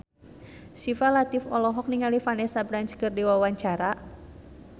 Syifa Latief olohok ningali Vanessa Branch keur diwawancara